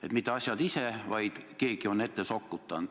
Et mitte asjad ise ei pane küsima, vaid keegi on info ette sokutanud.